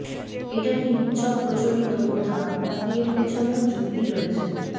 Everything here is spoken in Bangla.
এটা কি নিছক প্রচলিত প্রথা নাকি এর পিছনেও যুক্তি রয়েছে